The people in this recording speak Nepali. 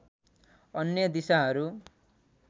अन्य दिशाहरू